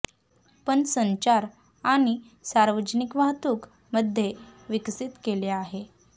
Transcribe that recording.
पण संचार आणि सार्वजनिक वाहतूक मध्ये विकसित केले आहे